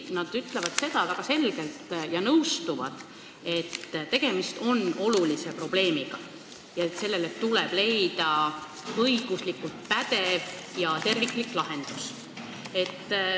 Nad ütlevad väga selgelt ja nõustuvad, et tegemist on olulise probleemiga, millele tuleb leida õiguslikult pädev ja terviklik lahendus.